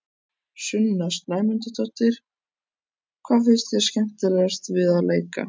Sunna Sæmundsdóttir: Hvað finnst þér skemmtilegast við að leika?